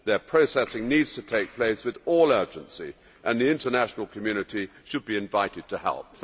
Their processing needs to take place with all urgency, and the international community should be invited to help.